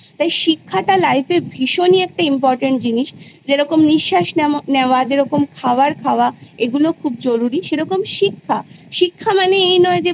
তাই শিক্ষাটা Life এর ভীষণই একটা Important জিনিস যেরকম নিঃশাস নেও নেওয়া যেরকম খাওয়ার খাওয়া এগুলো খুব জরুরি সেরকম শিক্ষা শিক্ষা মানে এই নয় যে